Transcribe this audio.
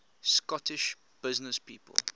scottish businesspeople